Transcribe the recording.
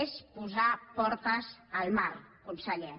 és posar portes al mar conseller